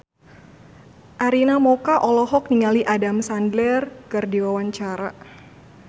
Arina Mocca olohok ningali Adam Sandler keur diwawancara